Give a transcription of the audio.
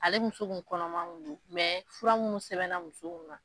Ale muso kun kɔnɔma kun don fura munnu sɛbɛnna muso kun na.